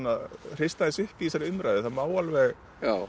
hrista aðeins upp í þessari umræðu það má alveg